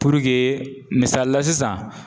Purukee misali la sisan